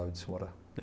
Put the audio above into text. de se morar